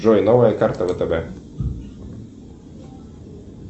джой новая карта втб